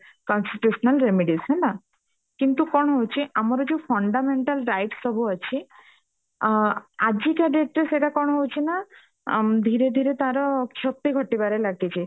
constitutional remedies ହେଲା କିନ୍ତୁ କଣ ହଉଛି ଆମର ଯୋଉ fundamental rights ସବୁ ଅଛି ଅ ଆଜି କା date ରେ ସେଟା କଣ ହଉଛି ନା ଆମ ଧୀରେ ଧୀରେ ତାର କ୍ଷତି ଘଟିବାର ଲାଗିଛି